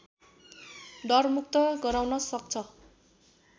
डरमुक्त गराउन सक्छ